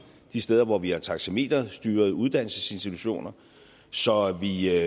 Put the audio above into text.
de steder hvor vi har taxameterstyrede uddannelsesinstitutioner så vi